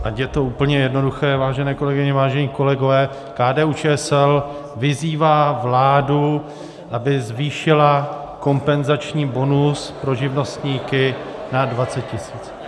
Ať je to úplně jednoduché, vážené kolegyně, vážení kolegové, KDU-ČSL vyzývá vládu, aby zvýšila kompenzační bonus pro živnostníky na 20 tisíc.